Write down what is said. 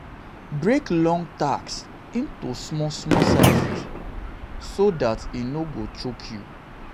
break large task into small small sizes so dat e no go choke you